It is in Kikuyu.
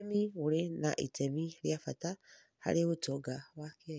ũrĩmi ũrĩ na itemi rĩa bata harĩ ũtonga wa Kenya